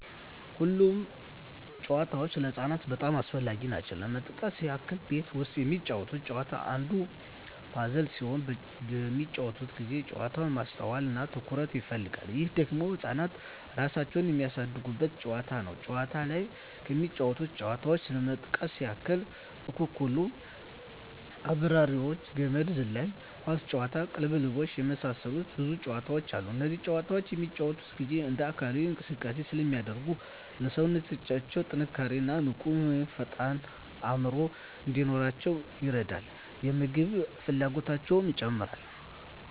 ሁሉም ጨዋታዎች ለህፃናት በጣም አስፈላጊ ናቸው ለመጥቀስ ያክል ቤት ውስጥ የሚጫወቱት ጨዋታ አንዱ ፐዝል ሲሆን በሚጫወቱበት ጊዜ ጨዋታው ማስተዋል እና ትኩረት ይፈልጋል ይህ ደግሞ ህፃናት እራሳቸውን የሚያሳድጉበት ጨዋታ ነው ውጭ ላይ ከሚጫወቱት ጨዋታዎች ለመጥቀስ ያክል አኩኩሉ....፣አብራሪዎች፣ ገመድ ዝላይ፣ ኳስ ጨዋታ፣ ቅልብልቦሽ የመሳሰሉት ብዙ ጨዋታዎች አሉ እነዚህ ጨዋታዎች በሚጫወቱበት ጊዜ እንደ አካላዊ እንቅስቃሴ ስለሚያደርጉ ለሠውነታው ጥንካሬ እና ንቁ ወይም ፈጣን አዕምሮ እንዲኖራቸው ይረዳል የምግብ ፍላጎታቸው ይጨምራል